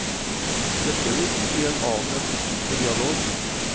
Dette vil bety en annen etikk for dialog.